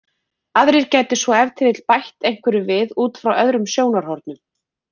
Aðrir gætu svo ef til vill bætt einhverju við út frá öðrum sjónarhornum.